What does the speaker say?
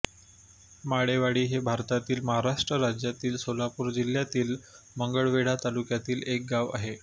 माळेवाडी हे भारतातील महाराष्ट्र राज्यातील सोलापूर जिल्ह्यातील मंगळवेढा तालुक्यातील एक गाव आहे